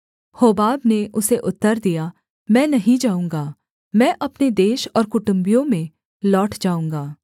होबाब ने उसे उत्तर दिया मैं नहीं जाऊँगा मैं अपने देश और कुटुम्बियों में लौट जाऊँगा